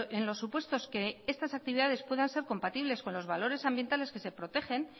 en los supuestos que estas actividades puedan ser compatibles con los valores ambientales que se protegen